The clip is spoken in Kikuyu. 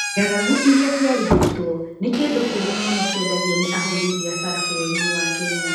Ng'aragu iria ciarugĩtwo nĩ kĩndũ kĩũru mũno kĩendagio nĩ ahũri biacara bũrũri-inĩ wa Kenya.